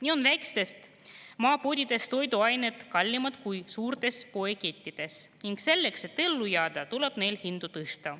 Nii on väikestes maapoodides toiduained kallimad kui suurtes poekettides ning selleks, et ellu jääda, tuleb neil hindu tõsta.